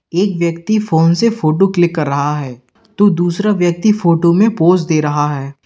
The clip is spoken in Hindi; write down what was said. एक व्यक्ति फोन से फोटो क्लिक कर रहा है तो दूसरा व्यक्ति फोटो में पोज दे रहा है।